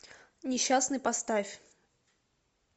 несчастный поставь